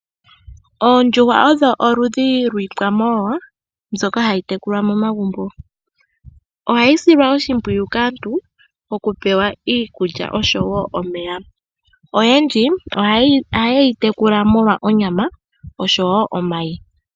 Oondjuhwa odho oludhi lwiikwamawawa mbyoka hayi tekulwa momagumbo, ohayi silwa oshimpwiyu kaantu okupewa iikulya oshowo omeya. Oyendji ohaye yi tekula molwa onyama oshowo omayi.